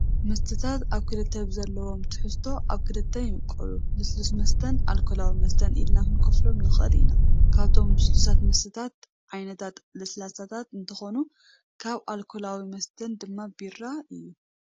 መስተታት ኣብ ክልተ ብዘለዎም ትሕዝቶ ኣብ ክልተ ይምቀሉ፡፡ ልስሉስ መስተን ኣልኮላዊ መስተን ኢልና ክንከፍሎም ንኸእል ኢና፡፡ ካብቶም ልስሉሳት መስተታት ዓይነታ ለስላሳታት እንትኾኑ ካብ ኣልኮላዊ መስተታት ድማ ቢራ እዩ፡፡